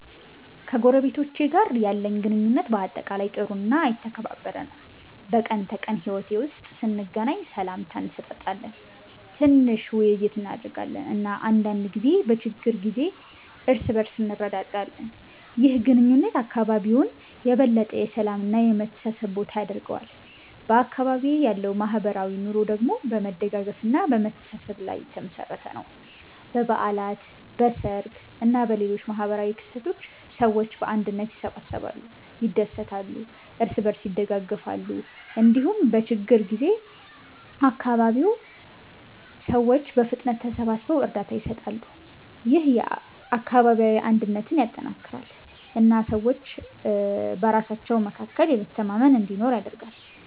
ከጎረቤቶቼ ጋር ያለኝ ግንኙነት በአጠቃላይ ጥሩ እና የተከባበረ ነው። በቀን ተቀን ሕይወት ውስጥ ስንገናኝ ሰላምታ እንሰጣጣለን፣ ትንሽ ውይይት እናደርጋለን እና አንዳንድ ጊዜ በችግር ጊዜ እርስ በእርስ እንረዳዳለን። ይህ ግንኙነት አካባቢውን የበለጠ የሰላም እና የመተሳሰብ ቦታ ያደርገዋል። በአካባቢዬ ያለው ማህበራዊ ኑሮ ደግሞ በመደጋገፍ እና በመተሳሰብ የተመሠረተ ነው። በበዓላት፣ በሰርግ እና በሌሎች ማህበራዊ ክስተቶች ሰዎች በአንድነት ይሰበሰባሉ፣ ይደሰታሉ እና እርስ በእርስ ይደጋገፋሉ። እንዲሁም በችግኝ ጊዜ አካባቢው ሰዎች በፍጥነት ተሰብስበው እርዳታ ይሰጣሉ። ይህ አካባቢያዊ አንድነትን ያጠናክራል እና ሰዎች በራሳቸው መካከል መተማመን እንዲኖር ያደርጋል።